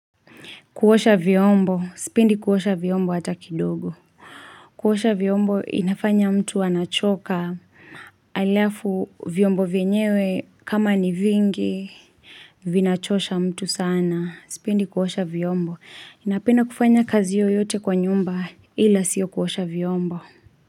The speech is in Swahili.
Kuosha vyombo. Sipendi kuosha vyombo hata kidogo. Kuosha vyombo inafanya mtu anachoka halafu vyombo vyenyewe kama ni vingi vinachosha mtu sana. Sipindi kuhosha vyombo. Napenda kufanya kazi yoyote kwa nyumba ila sio kuosha vyombo.